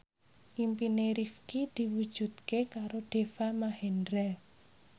impine Rifqi diwujudke karo Deva Mahendra